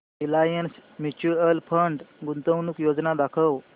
Reliance Mutual Fund गुंतवणूक योजना दाखव